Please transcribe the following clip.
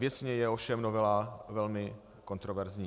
Věcně je ovšem novela velmi kontroverzní.